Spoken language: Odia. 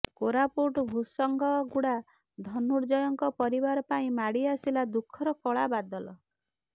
କୋରାପୁଟ ଭୂଷଙ୍ଗଗୁଡା ଧନୁର୍ଜୟଙ୍କ ପରିବାର ପାଇଁ ମାଡ଼ି ଆସିଲା ଦୁଃଖର କଳା ବାଦଲ